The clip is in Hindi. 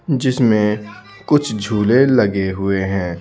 जिसमें कुछ झूले लगे हुए हैं।